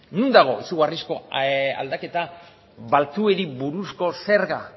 non dago izugarrizko aldaketa baltzuei buruzko zerga